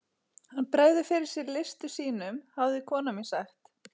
Hann bregður fyrir sig listum sínum hafði kona mín sagt.